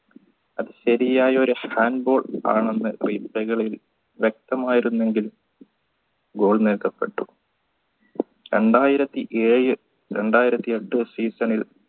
അത് ശരിയായ ഒരു hand goal ആണെന്ന് വ്യക്തമായിരുന്നെങ്കിലും goal നേടപ്പെട്ടു രണ്ടായിരത്തി ഏഴ് രണ്ടായിരത്തി എട്ട് season ൽ